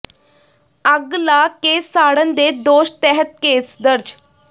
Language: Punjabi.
ਅੱਗ ਲਾ ਕੇ ਸਾੜਨ ਦੇ ਦੋਸ਼ ਤਹਿਤ ਕੇਸ ਦਰਜ